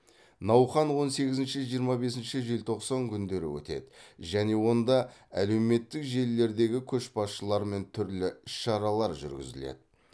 науқан он сегізінші жиырма бесінші желтоқсан күндері өтеді және онда әлеуметтік желілердегі көшбасшылармен түрлі іс шаралар жүргізіледі